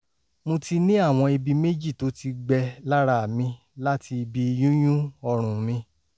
mo ti ní àwọn ibi méjì tó ti gbẹ lára mi láti ibi yúnyún ọrùn mi